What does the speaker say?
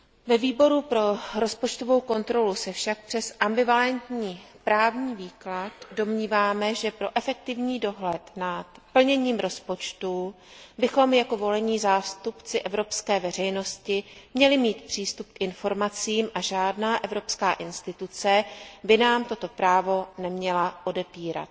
Ve Výboru pro rozpočtovou kontrolu se však přes ambivalentní právní výklad domníváme, že pro efektivní dohled nad plněním rozpočtu bychom jako volení zástupci evropské veřejnosti měli mít přístup k informacím a žádný evropský orgán či instituce by nám toto právo neměly odepírat.